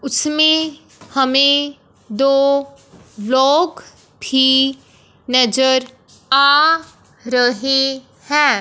उसमें हमें दो ब्लॉक भी नजर आ रहे हैं।